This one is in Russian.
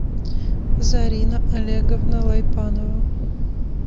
зарина олеговна лайпанова